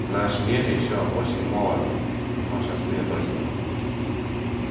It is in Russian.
наш мир ещё очень молод ваша светлость